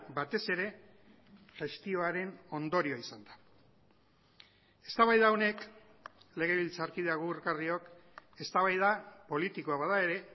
batez ere gestioaren ondorioa izan da eztabaida honek legebiltzarkide agurgarriok eztabaida politikoa bada ere